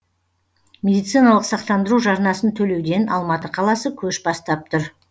медициналық сақтандыру жарнасын төлеуден алматы қаласы көш бастап тұр